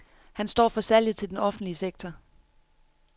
Han står for salget til den offentlige sektor.